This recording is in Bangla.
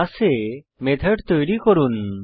ক্লাসে মেথড তৈরী করুন